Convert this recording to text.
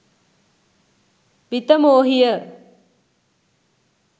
විතමෝහිය